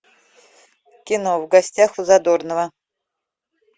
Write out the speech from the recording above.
кино в гостях у задорнова